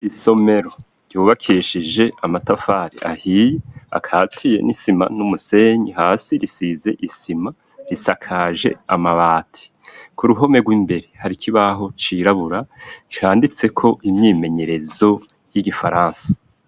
Isomero ryubakeshije amatafari ahiye akatiye n'isima n'umusenyi, hasi risize isima risakaje amabati, ku ruhome rw'imbere hari kibaho cirabura canditse ko imyimenyerezo y'igifaransa.